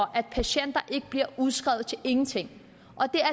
at patienter ikke bliver udskrevet til ingenting